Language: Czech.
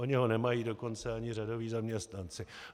Oni ho nemají dokonce ani řadoví zaměstnance.